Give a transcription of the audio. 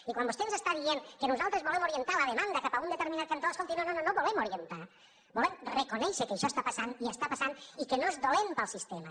i quan vostè ens està dient que nosaltres volem orientar la demanda cap a un determinat cantó escolti no no volem orientar volem reconèixer que això està passant i està passant i que no és dolent per al sistema